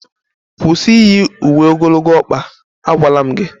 kwụsị iyi uwe ogologo ọkpa, agwala m gị!